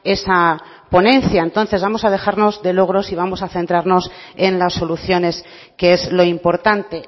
esa ponencia entonces vamos a dejarnos de logros y vamos a centrarnos en las soluciones que es lo importante